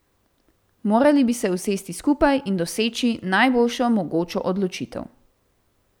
Morali bi se usesti skupaj in doseči najboljšo mogočo odločitev.